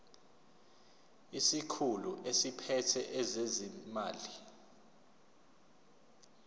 isikhulu esiphethe ezezimali